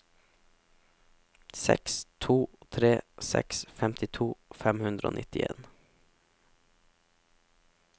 seks to tre seks femtito fem hundre og nittien